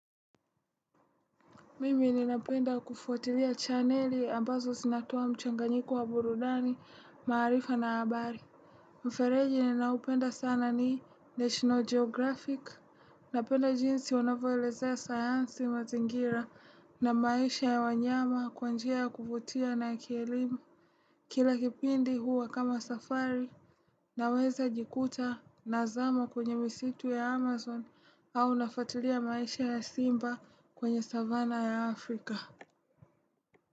Mimi ninapenda kufuatilia chaneli ambazo sinatua mchanganyiku wa burudani, maarifa na abari. Mfereji ninapenda sana ni National Geographic. Napenda jinsi wanavoelezea sayansi mazingira na maisha ya wanyama kwa njia ya kufutia na kielima. Kila kipindi huwa kama safari na weza jikuta nazama kwenye misitu ya Amazon au nafatilia maisha ya Simba kwenye savana ya Afrika.